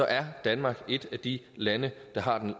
er danmark et af de lande der har den